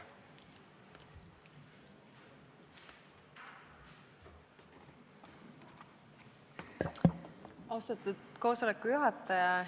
Austatud koosoleku juhataja!